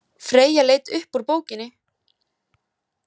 Freyja leit upp úr bókinni.